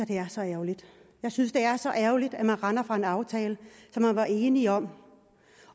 det er så ærgerligt jeg synes det er så ærgerligt at man render fra en aftale som man var enig om